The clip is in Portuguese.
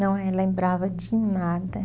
Não eh, lembrava de nada.